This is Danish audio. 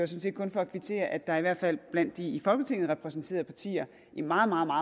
set kun for at kvittere for at der i hvert fald blandt de i folketinget repræsenterede partier i meget meget